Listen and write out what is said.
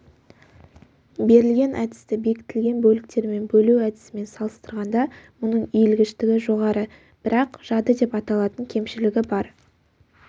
берілген әдісті бекітілген бөліктермен бөлу әдісімен салыстырғанда мұның иілгіштігі жоғары бірақ жады деп аталатын кемшілігі бар